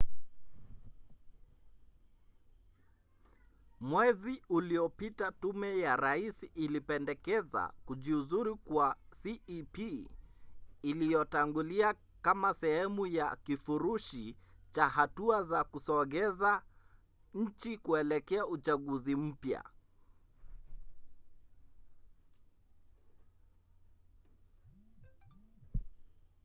mwezi uliopita tume ya rais ilipendekeza kujiuzulu kwa cep iliyotangulia kama sehemu ya kifurushi cha hatua za kusogeza nchi kuelekea uchaguzi mpya